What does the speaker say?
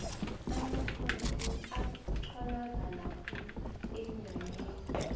amaprotheni atholakala khulu enyameni